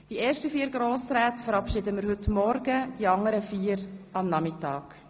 Die ersten vier Grossräte verabschieden wir heute Morgen, die anderen am Nachmittag.